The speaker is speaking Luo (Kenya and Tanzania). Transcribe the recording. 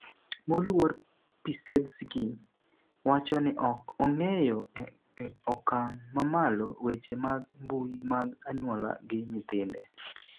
moluor Pissetzky wacho ni ok ong'eyo e okang' mamalo weche mag mbui mag anyuola gi nyithinde